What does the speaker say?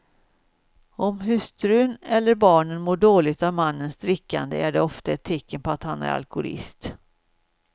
Om hustrun eller barnen mår dåligt av mannens drickande är det ofta ett tecken på att han är alkoholist.